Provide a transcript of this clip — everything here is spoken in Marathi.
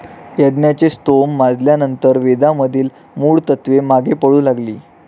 यज्ञाचे स्तोम माजल्यानंतर वेदामधील मूळ तत्त्वे मागे पडू लागली.